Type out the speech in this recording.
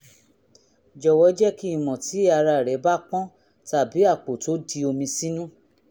jọ̀wọ́ jẹ́ kí n mọ̀ tí ara rẹ́ bá pọ́n tàbí àpò tó di omi sínú